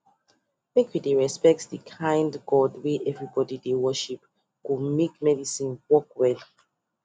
make we dey respect the kind god wey everybody dey worship go makemedicine work well